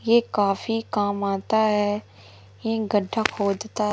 ये काफी काम आता है ये गड्ढा खोदता--